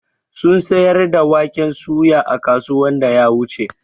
sun siyar da waƙen soya a kasuwan da ya wuche.